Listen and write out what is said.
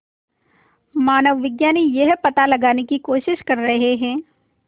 मानवविज्ञानी यह पता लगाने की कोशिश कर रहे हैं